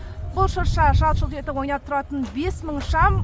бұл шырша жалт жұлт етіп ойнап тұратын бес мың шам